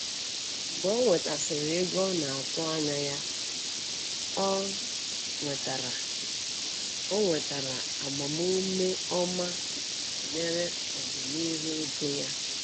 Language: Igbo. Mgbe ọ nwetasiri ego a na-atụ anya ya, ọ nwetara ọ nwetara agbamume ọma banyere ọdịnihu ego ya.